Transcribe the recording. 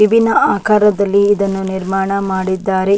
ವಿಭಿನ್ನ ಆಕಾರದಲ್ಲಿ ಇದನ್ನು ನಿರ್ಮಾಣ ಮಾಡಿದ್ದಾರೆ .